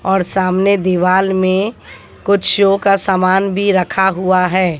और सामने दीवाल में कुछ शो का सामान भी रखा हुआ है।